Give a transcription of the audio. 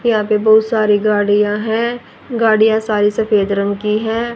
यहां पे बहोत सारी गाड़ियां हैं गाडियां सारी सफेद रंग की है।